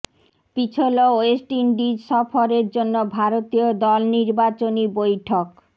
পিছল West Indies সফরের জন্য ভারতীয় দল নির্বাচনী বৈঠক